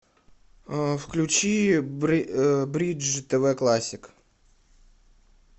включи бридж тв классик